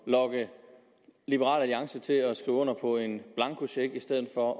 lokke liberal alliance til at skrive under på en blankocheck i stedet for